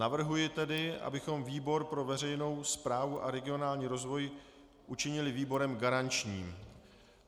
Navrhuji tedy, abychom výbor pro veřejnou správu a regionální rozvoj učinili výborem garančním.